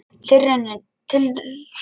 Tilraunin stóð í tvö ár en þá var henni hætt.